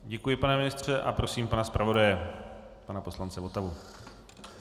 Děkuji, pane ministře, a prosím pana zpravodaje pana poslance Votavu.